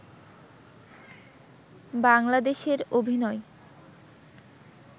বাংলাদেশের অভিনয়